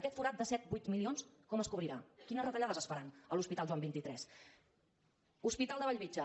aquest forat de set vuit milions com es cobrirà quines retallades es faran a l’hospital joan xxiii hospital de bellvitge